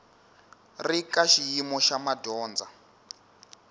ri ka xiyimo xa madyondza